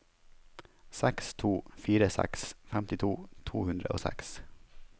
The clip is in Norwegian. seks to fire seks femtito to hundre og seks